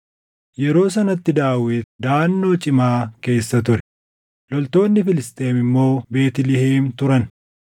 Yeroo sanatti Daawit daʼannoo cimaa keessa ture; loltoonni Filisxeem immoo Beetlihem turan.